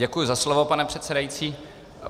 Děkuji za slovo, pane předsedající.